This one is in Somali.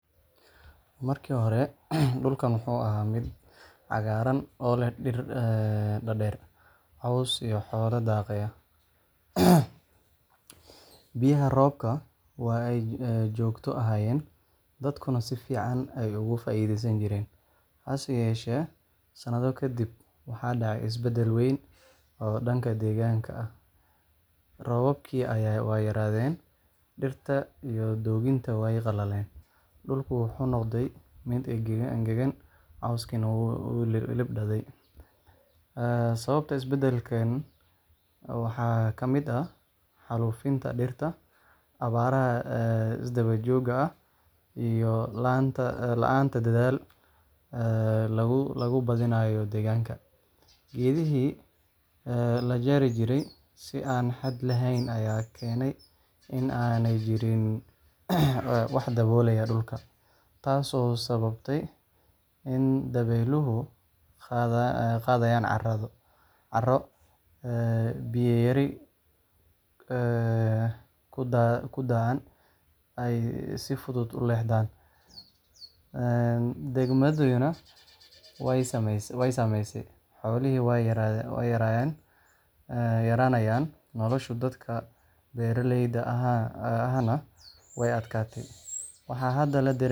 Markii hore, dhulkan wuxuu ahaa mid cagaaran oo leh dhir dhaadheer, caws iyo xoolo daaqaya. Biyaha roobku waa ay joogto ahaayeen, dadkuna si fiican bay uga faa'iidaysan jireen. Hase yeeshee, sanado ka dib, waxaa dhacay isbeddel weyn oo dhanka deegaanka ah. Roobabkii waa yaraadeen, dhirta iyo dooggiina way qallaleen. Dhulku wuxuu noqday mid engegan, cawskiina wuu libdhey. Sababaha isbeddelkan waxaa ka mid ah xaalufinta dhirta, abaaraha isdaba jooga ah, iyo la’aanta dadaal lagu badbaadinayo deegaanka. Geedihii la jari jiray si aan xad lahayn ayaa keenay in aanay jirin wax daboolaya dhulka, taas oo sahashay in dabeyluhu qaadaan carro, biyo yare ku da'aana ay si fudud u leexdaan. Degmadayaduna way saameysay; xoolihii way yaraanayaan, nolosha dadka beeraleyda ahna way adkaatay.